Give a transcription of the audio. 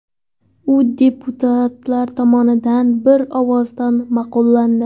U deputatlar tomonidan bir ovozdan ma’qullandi.